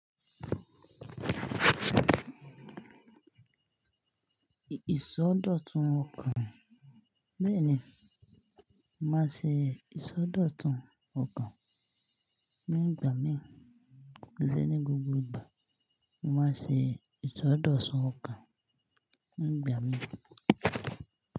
Ìsọdọ̀tun ọkàn. Bẹ́ẹ̀ni, máa ṣe ìsọdọ̀tun ọkàn nígbà mìíràn. Ki ṣe ní gbogbo ìgbà, ni mo máa n ṣe ìsọdọ̀tun ọkàn nígbà mìíràn.